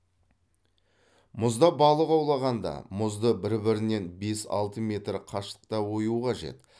мұзда балық аулағанда мұзды бір бірінен бес алты метр қашықта ою қажет